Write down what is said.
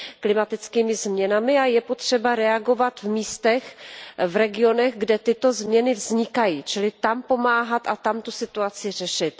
klimatickými změnami, a je potřeba reagovat v místech, v regionech, kde tyto změny vznikají, čili tam pomáhat a tam tu situaci řešit.